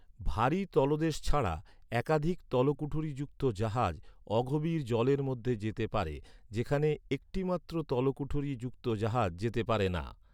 ভারী তলদেশ ছাড়া, একাধিক তলকুঠুরী যুক্ত জাহাজ অগভীর জলের মধ্যে যেতে পারে, যেখানে একটিমাত্র তলকুঠুরী যুক্ত জাহাজ যেতে পারে না।